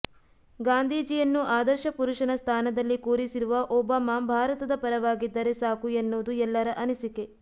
ಗಾಂಧೀಜಿಯನ್ನು ಆದರ್ಶ ಪುರುಷನ ಸ್ಥಾನದಲ್ಲಿ ಕೂರಿಸಿರುವ ಒಬಾಮಾ ಭಾರತದ ಪರವಾಗಿದ್ದರೆ ಸಾಕು ಎನ್ನುವುದು ಎಲ್ಲರ ಅನಿಸಿಕೆ